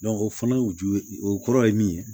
o fana u ju o kɔrɔ ye min ye